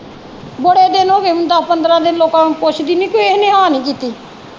ਬੜੇ ਦਾ ਇਨ ਹੋ ਗਏ ਮੈਨੂੰ ਦੱਸ ਪੰਦਰਾਂ ਦਿਨ ਲੋਕਾਂ ਨੂੰ ਪੁੱਛਦੀ ਨੀ ਕਿਹੇ ਨੇ ਹਾਂ ਨਹੀਂ ਕੀਤੀ।